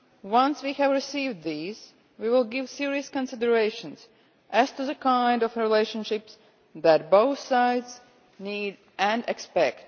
Once we have received these, we will give serious consideration as to the kind of relationship that both sides need and expect.